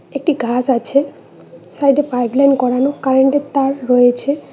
একটি গাছ আছে সাইডে পাইপলাইন করানো কারেন্টের তার রয়েছে।